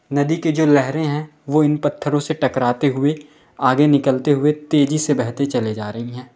नदी के जो लहरें है वो इन पत्थरों से टकराते हुए आगे निकलते हुए तेज़ी से बहते चली जा रही है।